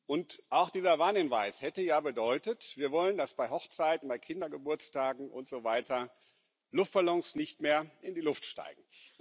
Und auch dieser Warnhinweis hätte ja bedeutet Wir wollen, dass bei Hochzeiten, bei Kindergeburtstagen und so weiter Luftballons nicht mehr in die Luft steigen.